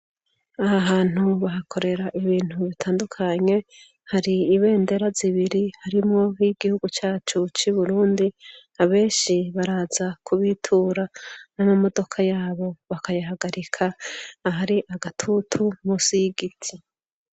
Ahahantu bahakorera ibintu bitandukanye hari ibendera zibiri harimwo n'iyigihugu cacu c'Uburundi. Abeshi baraza kubitura n'amamodoka yabo bakayahagarika ahari agatutu musi y'igiti.